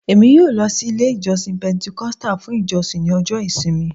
Emi yoo lọ si ile ijọsin Pentecostal fun ijosin ni ọjọ ìsinmi